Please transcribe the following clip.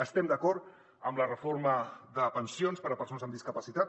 estem d’acord en la reforma de pensions per a persones amb discapacitat